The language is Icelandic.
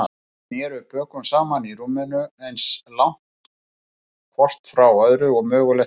Þau sneru bökum saman í rúminu, eins langt hvort frá öðru og mögulegt var.